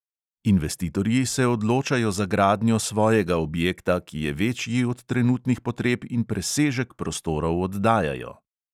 Investitorji se odločajo za gradnjo svojega objekta, ki je večji od trenutnih potreb in presežek prostorov oddajajo.